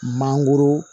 Mangoro